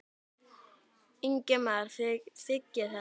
Ingimar: Þið þiggið þetta?